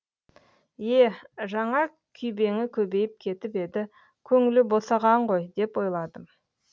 е жаңа күйбеңі көбейіп кетіп еді көңілі босаған ғой деп ойладым